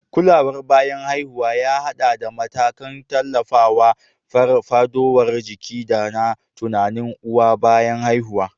Kulawar bayan haihuwa ya haɗa da matakan tallafawa farfaɗowar jiki da na tunanin uwa bayan haihuwa.